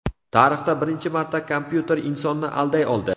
Tarixda birinchi marta kompyuter insonni alday oldi.